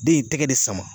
Den ye tɛgɛ de sama